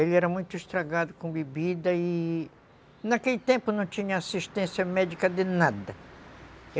Ele era muito estragado com bebida e naquele tempo não tinha assistência médica de nada.